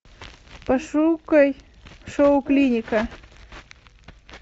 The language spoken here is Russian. пошукай шоу клиника